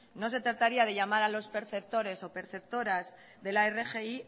no se trataría de llamar a los perceptores o preceptoras de la rgi